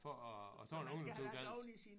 For at at tage en ungdomsuddannelse